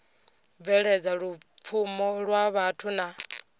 bveledza lupfumo lwa vhathu na